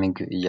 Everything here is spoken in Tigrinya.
ምግብ እያ::